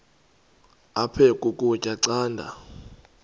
aphek ukutya canda